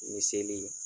Ni seli